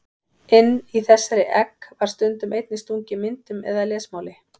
Inn í þessi egg var stundum einnig stungið myndum eða lesmáli.